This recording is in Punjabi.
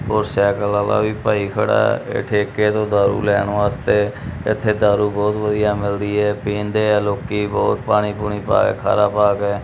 ਹੋਰ ਸਾਈਕਲ ਵਾਲਾ ਵੀ ਭਾਈ ਖੜਾ ਇਹ ਠੇਕੇ ਤੋਂ ਦਾਰੂ ਲੈਣ ਵਾਸਤੇ ਇਥੇ ਦਾਰੂ ਬਹੁਤ ਵਧੀਆ ਮਿਲਦੀ ਹੈ ਪੀਂਦੇ ਆ ਲੋਕੀ ਬਹੁਤ ਪਾਣੀ ਪੂਣੀ ਪਾ ਕੇ ਖਾਰਾ ਪਾ ਗਏ।